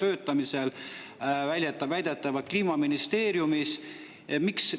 Need dokumendid on väidetavalt alles Kliimaministeeriumis väljatöötamisel.